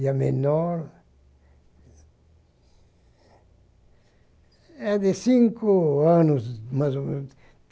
E a menor... É de cinco anos, mais ou menos.